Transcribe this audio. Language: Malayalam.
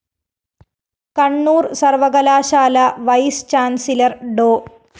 കണ്ണൂര്‍ സര്‍വ്വകലാശാല വൈസ്‌ ചാന്‍സിലര്‍ ഡോ